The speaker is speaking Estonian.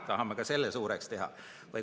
Tahame ka selle suureks teha.